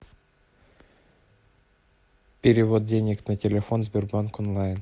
перевод денег на телефон сбербанк онлайн